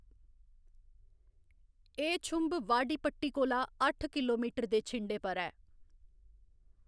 एह्‌‌ छुंभ वाडिपट्टी कोला अट्ठ किलोमीटर दे छिंडे पर ऐ।